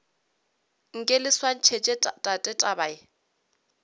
nke le swantšhetše tate taba